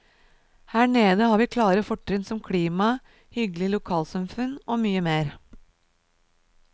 Her nede har vi klare fortrinn som klimaet, hyggelige lokalsamfunn og mye mer.